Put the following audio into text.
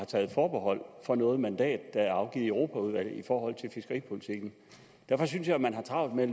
taget forbehold for noget mandat der er afgivet i europaudvalget i forhold til fiskeripolitikken derfor synes jeg at man har travlt med at